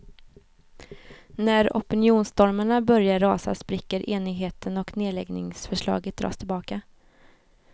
När opinionsstormarna börjar rasa spricker enigheten och nedläggningsförslaget dras tillbaka.